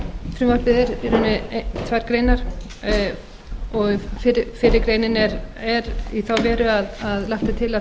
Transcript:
frumvarpið er tvær greinar og fyrri greinin er í þá veru að lagt er til að